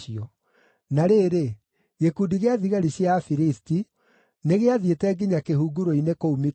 Na rĩrĩ, gĩkundi gĩa thigari cia Afilisti nĩgĩathiĩte nginya kĩhunguro-inĩ kũu Mikimashi.